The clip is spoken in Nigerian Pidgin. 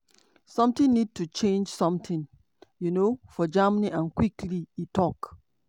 "something need to change something um for germany – and quickly" e tok.